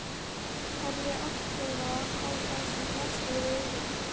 Horfði agndofa á það sem blasti við augum.